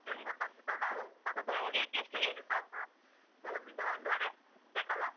ನಿಮ್ಗೊತ್ತಾಗ್ತದಲ್ಲ? ಮತ್ತ್ ಅದೊಂದು cake ಎಷ್ಟು ಕೆಜಿ ಸಾಕು? ಒಂದು ಒಂದೂವರೆ ಬೇಕಲ್ಲ?